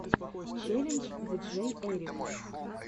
челлендж диджейэрик